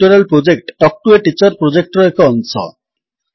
spoken tutorial project talk to a teacher ପ୍ରୋଜେକ୍ଟର ଏକ ଅଂଶ